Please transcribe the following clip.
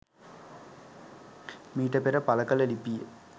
මීට පෙර පළකල ලිපිය